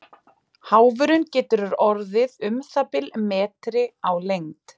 Háfurinn getur orðið um það bil metri á lengd.